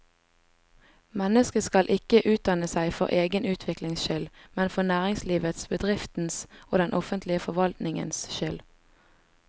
Mennesket skal ikke utdanne seg for egen utviklings skyld, men for næringslivets, bedriftenes og den offentlige forvaltningens skyld.